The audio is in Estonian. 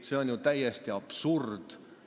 See on täiesti absurd!